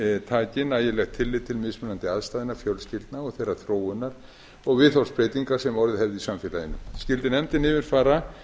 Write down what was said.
taki nægilegt tillit til mismunandi aðstæðna fjölskyldna og þeirrar þróunar og viðhorfsbreytinga sem orðið hefðu í samfélaginu skyldi nefndin yfirfara